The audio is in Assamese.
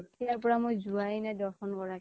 পৰা মই যোৱা য়ে নাই দৰ্শন কৰা কে